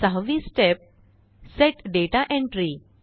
सहावी step set data entry